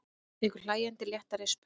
Tekur hlæjandi létta rispu.